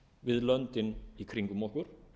við löndin í kringum okkur